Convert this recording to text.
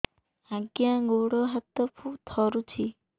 ଆଜ୍ଞା ଗୋଡ଼ ହାତ ଥରୁଛି